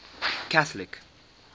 catholic